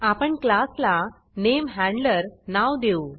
आपण क्लासला NameHandlerनेम हॅंड्लर नाव देऊ